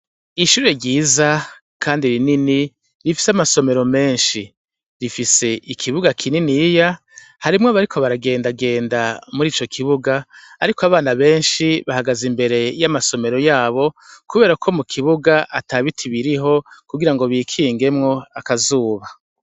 Ishure ryiza kandi rinini rifise amasomero menshi, rifise ikibuga kininiya, harimwo abariko baragendagenda muri ico kibuga ariko abana benshi bahagaze imbere y'amasomero yabo kubera ko mu kibuga ata biti biriho kugira ngo bikingemwo akazuba.